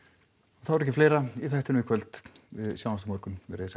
þá er ekki fleira í þættinum í kvöld við sjáumst á morgun verið þið sæl